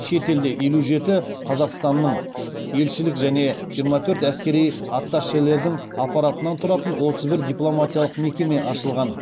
шетелде елу жеті қазақстанның елшілік және жиырма төрт әскери атташелердің аппаратынан тұратын отыз бір дипломатиялық мекеме ашылған